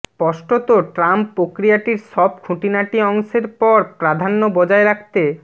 স্পষ্টত ট্রাম্প প্রক্রিয়াটির সব খুঁটিনাটি অংশের পর প্রাধান্য বজায় রাখতে